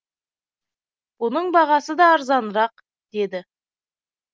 бұның бағасы да арзанырақ деді